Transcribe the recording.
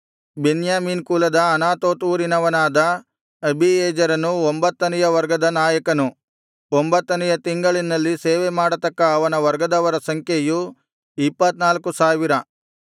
ಬೆನ್ಯಾಮೀನ್ ಕುಲದ ಅನತೋತ್ ಊರಿನವನಾದ ಅಬೀಯೆಜೆರನು ಒಂಬತ್ತನೆಯ ವರ್ಗದ ನಾಯಕನು ಒಂಬತ್ತನೆಯ ತಿಂಗಳಿನಲ್ಲಿ ಸೇವೆಮಾಡತಕ್ಕ ಅವನ ವರ್ಗದವರ ಸಂಖ್ಯೆಯು ಇಪ್ಪತ್ತ್ನಾಲ್ಕು ಸಾವಿರ